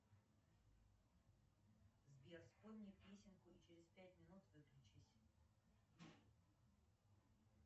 сбер спой мне песенку и через пять минут выключись